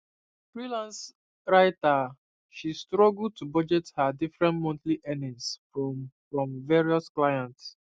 freelance writer she struggle to budget her different monthly earnings from from various clients